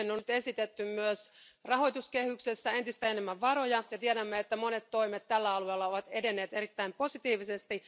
Siihen on nyt esitetty myös rahoituskehyksessä entistä enemmän varoja, ja tiedämme, että monet toimet tällä alalla ovat edenneet erittäin positiivisesti.